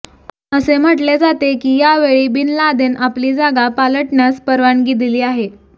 असे म्हटले जाते की या वेळी बिन लादेन आपली जागा पालटण्यास परवानगी दिली आहे